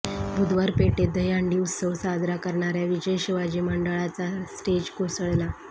बुधवार पेठेत दहीहंडी उत्सव साजरा करणाऱ्या विजय शिवाजी मंडळाचा स्टेज कोसळला